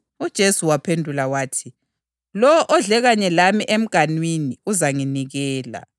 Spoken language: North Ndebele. UJesu waphendula wathi, “Lowo odle kanye lami emganwini uzanginikela.